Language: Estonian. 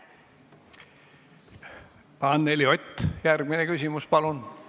Anneli Ott, järgmine küsimus, palun!